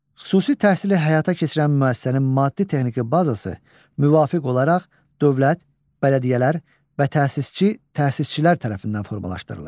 Xüsusi təhsili həyata keçirən müəssisənin maddi-texniki bazası müvafiq olaraq dövlət, bələdiyyələr və təsisçi, təsisçilər tərəfindən formalaşdırılır.